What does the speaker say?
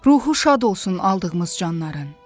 Ruhu şad olsun aldığımız canların.